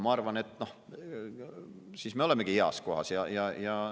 Ma arvan, et siis me olemegi heas kohas.